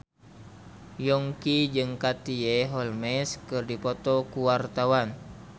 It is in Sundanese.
Yongki jeung Katie Holmes keur dipoto ku wartawan